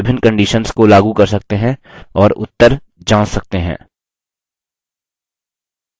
हम इन पर विभिन्न conditions को लागू कर सकते हैं और उत्तर जाँच सकते हैं